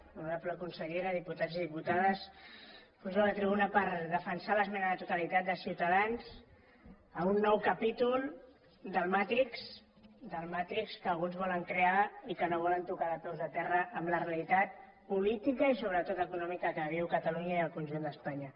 honorable consellera diputats i diputades pujo a la tribuna per defensar l’esmena a la totalitat de ciutadans a un nou capítol del matrix del matrix que alguns volen crear i que no volen tocar de peus a terra en la realitat política i sobretot econòmica que viuen catalunya i el conjunt d’espanya